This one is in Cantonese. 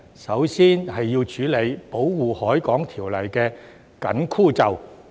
首先要處理《保護海港條例》的"緊箍咒"。